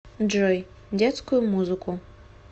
джой детскую музыку